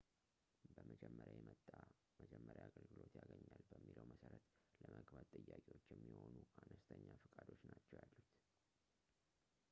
በመጀመሪያ የመጣ መጀመሪያ አገልግሎት ያገኛል በሚለው መሠረት ለመግባት ጥያቄዎች የሚሆኑ አነስተኛ ፈቃዶች ናቸው ያሉት